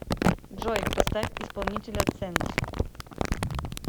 джой поставь исполнителя центр